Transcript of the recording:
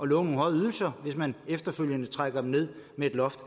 love nogle høje ydelser hvis man efterfølgende trækker dem ned med et loft